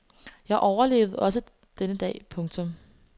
Jeg overlevede også denne dag. punktum